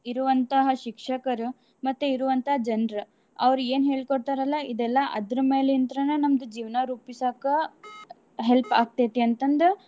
ಇರುವಂತಹ ಶಿಕ್ಷಕರು ಮತ್ತೆ ಇರುವಂತಹ ಜನ್ರ ಅವ್ರ ಏನ್ ಹೇಳ್ಕೊಡ್ತಾರಲ್ಲಾ ಇದೆಲ್ಲ ಅದ್ರ ಮೇಲಿಂತ್ರನ ನಮ್ದ ಜೀವ್ನಾ ರೂಪಿಸಾಕ help ಆಕ್ತೇತಿ ಅಂತಂದ.